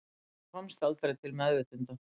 Hún komst aldrei til meðvitundar